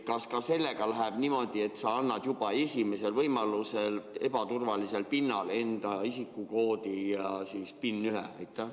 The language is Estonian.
Kas sellega läheb ka niimoodi, et sa annad esimesel võimalusel ebaturvalisel pinnal oma isikukoodi ja PIN-1?